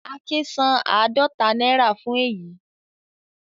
Akin san àádọta náírà fún èyí